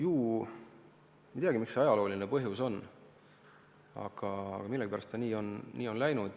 Ma ei tea, mis see ajalooline põhjus võib olla, aga millegipärast on ta nii läinud.